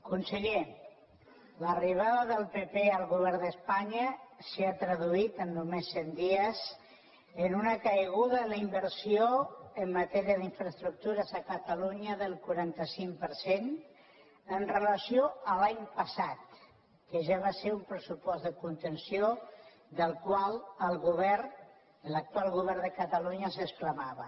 conseller l’arribada del pp al govern d’espanya s’ha traduït en només cent dies en una caiguda de la inversió en matèria d’infraestructures a catalunya del quaranta cinc per cent amb relació a l’any passat que ja va ser un pressupost de contenció del qual el govern l’actual govern de catalunya s’exclamava